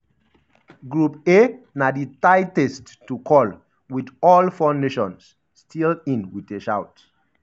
group a na di tightest to call wit all four nations still in wit a shout.